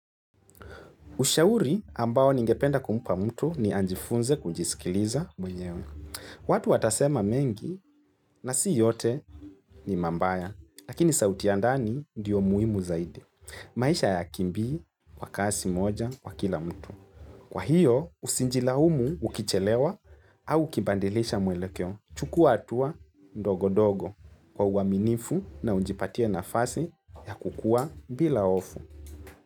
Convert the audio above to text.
Ushauri ambao ningependa kumpa mtu ni anjifunze kujisikiliza mwenyewe. Watu atasema mengi na si yote ni mambaya, lakini sauti ya ndani ndiyo muhimu zaidi. Maisha hayakimbii, kwa kasi moja, kwa kila mtu. Kwa hiyo, usinjilaumu ukichelewa au kibandilisha mwelekeo. Chukua hatua ndogo-dogo kwa uaminifu na unjipatie nafasi ya kukua bila hofu.